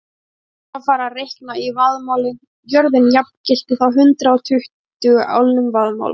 Síðar var farið að reikna í vaðmáli, jörðin jafngilti þá hundrað og tuttugu álnum vaðmáls.